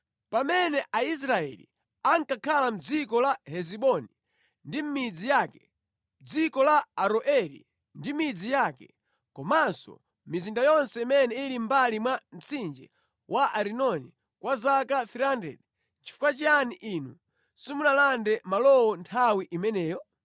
Pamene Aisraeli ankakhala mʼdziko la Hesiboni ndi mʼmidzi yake, mʼdziko la Aroeri ndi midzi yake, komanso mʼmizinda yonse imene ili mʼmbali mwa mtsinje wa Arinoni kwa zaka 300, nʼchifukwa chiyani inu simunalande malowo nthawi imeneyo?